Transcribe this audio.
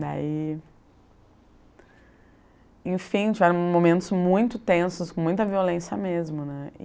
Daí... Enfim, tiveram momentos muito tensos, com muita violência mesmo, né?